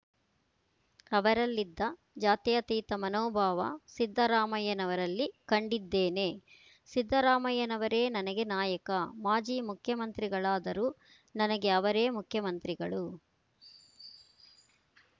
ಅವರಲ್ಲಿದ್ದ ಜಾತ್ಯತೀತ ಮನೋಭಾವ ಸಿದ್ದರಾಮಯ್ಯನವರಲ್ಲಿ ಕಂಡಿದ್ದೇನೆ ಸಿದ್ದರಾಮಯ್ಯನವರೇ ನನಗೆ ನಾಯಕ ಮಾಜಿ ಮುಖ್ಯಮಂತ್ರಿಗಳಾದರೂ ನನಗೆ ಅವರೇ ಮುಖ್ಯಮಂತ್ರಿಗಳು